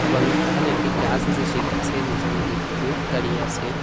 এবং সেখানে একটি গাস আসে সেই গাসের নীচে অনেক লোক দাঁড়িয়ে আসে।